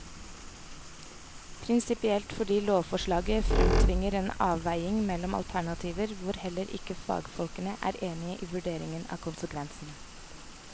Prinsipielt fordi lovforslaget fremtvinger en avveining mellom alternativer hvor heller ikke fagfolkene er enige i vurderingen av konsekvensene.